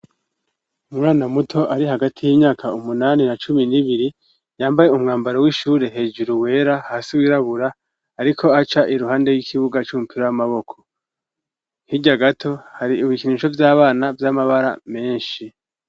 Umwana muto, ari hagati y'imyaka umunani na cumi n'ibiri, yambaye umwambaro w'ishure hejuru wera, hasi wirabura, ariko aca iruhande y'ikibuga c'umupira w'amaboko, hirya gato hari ibikinisho vy'abana vy'amabara menshi.